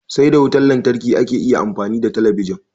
Sai da wutan lantarki ake iya amfani da talabijin